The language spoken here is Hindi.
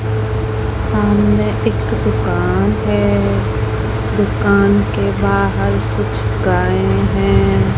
सामने एक दुकान है दुकान के बाहर कुछ गाय है।